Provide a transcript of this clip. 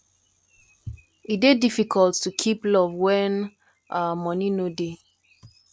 e dey difficult to keep love wen um moni no dey